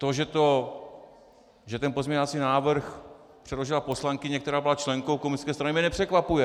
To, že ten pozměňovací návrh předložila poslankyně, která byla členkou komunistické strany, mě nepřekvapuje.